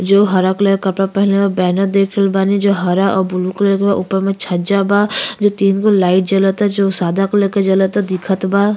जो हरा कलर का कपडा पेहनले बा। बैनर देख रहल बानी जो हरा और ब्लू कलर के बा। ऊपर में छज्जा बा जो तीन गो लाइट जलता जो सादा कलर के जलता दिखत बा।